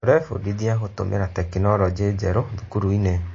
Tũrebundithia gũtũmĩra tekinoronjĩ njerũ thukuru-inĩ.